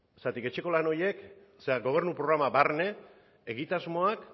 zergatik etxeko lan horiek gobernu programa barne egitasmoak